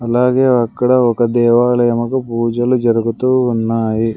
అలాగే అక్కడ ఒక దేవాలయముకు పూజలు జరుగుతూ ఉన్నాయి.